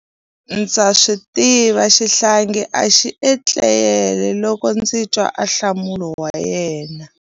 Ndza swi tiva xihlangi a xi etlele loko ndzi twa ahlamulo wa yena.